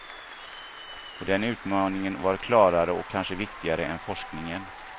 Och den utmaningen var klarare och kanske viktigare än forskningen.